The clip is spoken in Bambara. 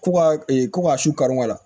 Ko ka ko ka su kari kari la